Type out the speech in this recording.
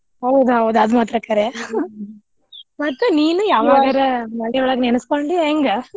ಹೌದೌದ ಆದ ಮಾತ್ರ ಕರೆ ಮತ್ತ್ ನೀನು ನೆನಸ್ಕೊಂಡಿ ಹೆಂಗ್?